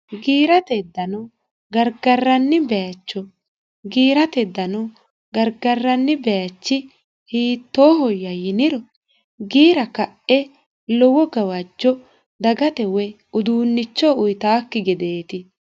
giirate dano gargarranni bayecho giirate dano gargarranni bayichi hiittoohoyya yiniro giira ka'e lowo gawajjo dagate woy uduunnicho uyitaakki gedeeti